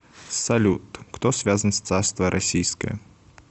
салют кто связан с царство российское